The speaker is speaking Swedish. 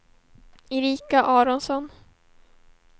Erika Aronsson